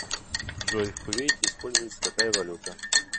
джой в кувейте используется какая валюта